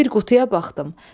Bir qutuya baxdım.